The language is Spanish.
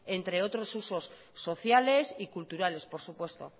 entre otros usos sociales y culturales por supuesto